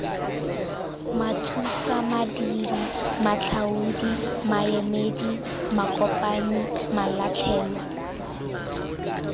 mathusamadiri matlhaodi maemedi makopanyi malatlhelwa